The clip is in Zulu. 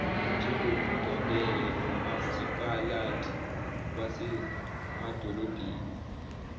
njengokuqondene nomasipalati wasemadolobheni